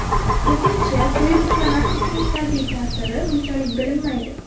Ko‘pincha, to‘yib uxlamaslikning salbiy ta’siri unchalik bilinmaydi.